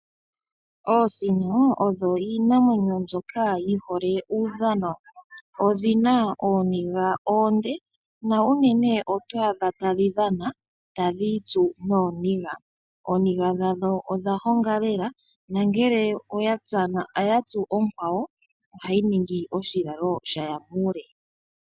Oosino odho iinamwenyo mbyok ayi hole uudhano. Odhi na oothingo oonde nuunene oto adha tadhi dhana tadhi itsu nooniga. Ooniga dhadho odha honga lela nongele oya tsu onkwawo ohayi ningi oshilalo sha ya muule.